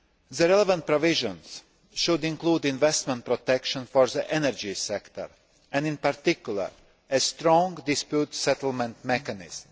The relevant provisions should include investment protection for the energy sector and, in particular, a strong dispute settlement mechanism.